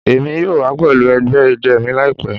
Emi yoo wa pẹlu ẹgbẹ idẹ mi laipẹ